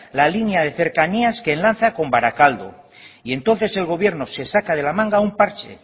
la línea de cercanías que enlaza con barakaldo y entonces el gobierno se saca de la manga un parche